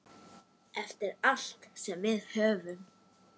Eftir allt sem við höfum.